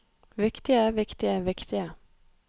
viktige viktige viktige